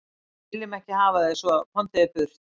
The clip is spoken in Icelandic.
Við viljum ekki hafa þig svo, komdu þér burt.